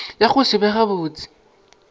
ya go se be gabotse